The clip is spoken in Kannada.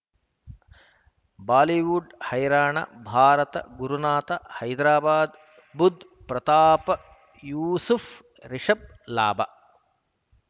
ಬಾಲಿವುಡ್ ಹೈರಾಣ ಭಾರತ ಗುರುನಾಥ ಹೈದರಾಬಾದ್ ಬುಧ್ ಪ್ರತಾಪ್ ಯೂಸುಫ್ ರಿಷಬ್ ಲಾಭ